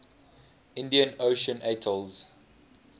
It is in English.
indian ocean atolls